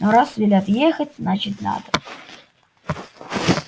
но раз велят ехать значит надо